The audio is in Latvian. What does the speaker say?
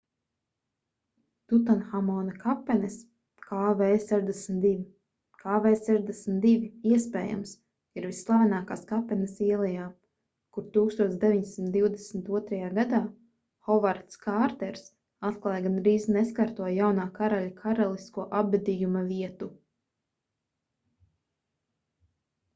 tutanhamona kapenes kv62. kv62 iespējams ir visslavenākās kapenes ielejā kur 1922. gadā hovards kārters atklāja gandrīz neskarto jaunā karaļa karalisko apbedījuma vietu